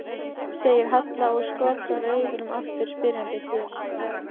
segir Halla og skotrar augunum aftur spyrjandi til